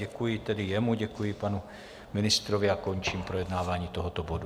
Děkuji tedy jemu, děkuji panu ministrovi a končím projednávání tohoto bodu.